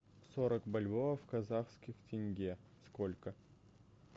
сорок бальбоа в казахских тенге сколько